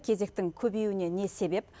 кезектің көбеюіне не себеп